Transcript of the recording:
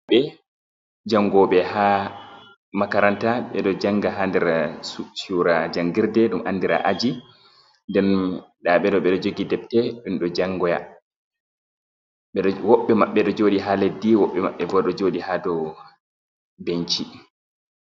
...ɓɓe jangoɓe haa makaranta, ɓe ɗo janga haa nder cuura jangirde ɗum andira aji. Nden da ɓeɗo ɓe ɗo jogi debte ɗum ɗo jangoya. Woɓɓe maɓɓe ɗo jodi haa leddi, woɓɓe maɓɓe bo ɗo joɗi haa do benci.